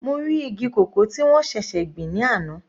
Mo rí igi cocoa tí wọ́n ṣẹ̀ṣẹ̀ gbìn ní àná.